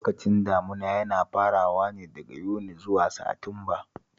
Lokacin damuna yana farawa ne daga Yuni zuwa Satimba